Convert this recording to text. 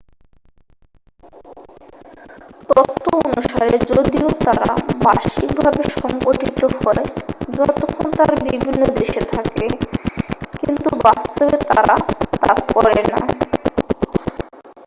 তত্ত্ব অনুসারে যদিও তারা বার্ষিকভাবে সংঘটিত হয় যতক্ষণ তারা বিভিন্ন দেশে থাকে কিন্তু বাস্তবে তারা তা করে না।